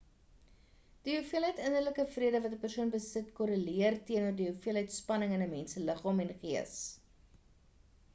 die hoeveelheid innerlike vrede wat 'n persoon besit korreleer teenoor die hoeveelheid spanning in 'n mens se liggaam en gees